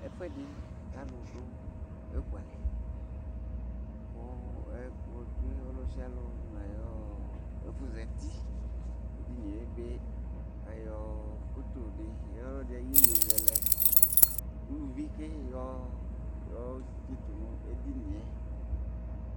ɛfu ɛdi k'alò do eku alɛ kò ɛkplɔ tsue ɔlò sialò n'ayi ɛfu zati edini ebe k'ayɔ foto di yɔ ɔlò ɛdi ayi yeye zɛlɛ uluvi ke yɔ tsito n'edini yɛ